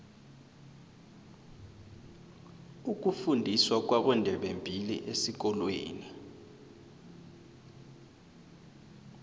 ukufundiswa kwabondebembili esikolweni